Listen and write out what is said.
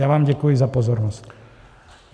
Já vám děkuji za pozornost.